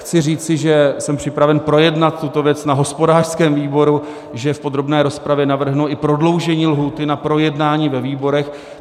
Chci říci, že jsem připraven projednat tuto věc na hospodářském výboru, že v podrobné rozpravě navrhnu i prodloužení lhůty na projednání ve výborech.